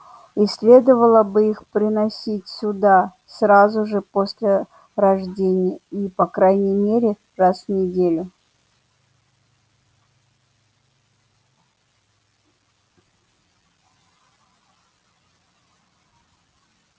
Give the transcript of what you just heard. и следовало бы их приносить сюда сразу же после рождения и по крайней мере раз в неделю